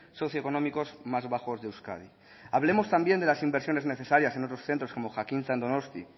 socioeconómicos más bajos de euskadi hablemos también de las inversiones necesarias en otros centros como jakintza en donosti